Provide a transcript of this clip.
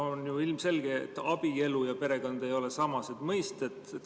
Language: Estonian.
On ju ilmselge, et abielu ja perekond ei ole samased mõisted.